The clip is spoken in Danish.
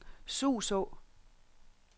Suså